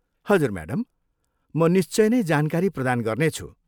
हजुर म्याडम, म निश्चय नै जानकारी प्रदान गर्नेछु।